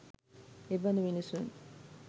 එබඳු මිනිසුන්